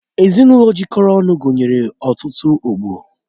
Ezinụlọ jikọrọ ọnụ gụnyere ọtụtụ ọgbọ